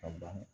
Ka ban